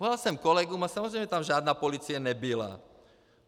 Volal jsem kolegům a samozřejmě tam žádná policie nebyla.